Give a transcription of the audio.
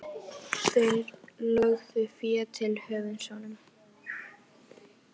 Þeir lögðu fé til höfuðs honum.